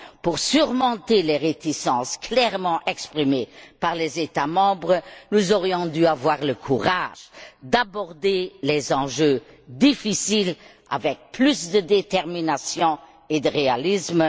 Pour surmonter les réticences clairement exprimées par les États membres, nous aurions dû avoir le courage d'aborder les enjeux difficiles avec plus de détermination et de réalisme.